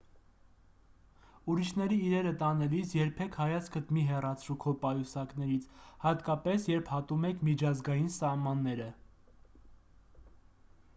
ուրիշների իրերը տանելիս երբեք հայացքդ մի հեռացրու քո պայուսակներից հատկապես երբ հատում եք միջազգային սահմանները